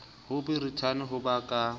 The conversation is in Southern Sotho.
ho borithane ho ba ka